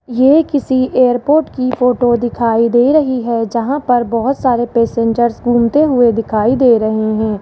ये किसी एयरपोर्ट की फोटो दिखाई दे रही है जहां पर बहोत सारे पैसेंजर्स घूमते हुए दिखाई दे रहे है।